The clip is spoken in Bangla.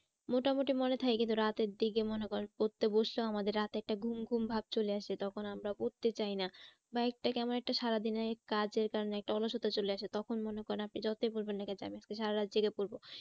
মোটামুটি মনে থাকে কিন্তু রাতের দিকে মনে কর পড়তে বসলেও আমাদের রাতে একটা ঘুম ঘুম ভাব চলে আসে তখন আমরা পড়তে চাই না। বা একটা কেমন একটা সারাদিনের কাজের কারণে একটা অলসতা চলে আসে তখন মনে করেন আপনি যতই বলবেন না কি যে আমি আজকে সারা রাত জেগে পড়বো।